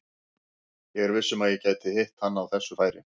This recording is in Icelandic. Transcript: Ég er viss um að ég gæti hitt hann á þessu færi.